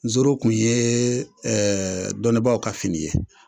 Nzoro tun ye dɔnnibaa ka fini ye.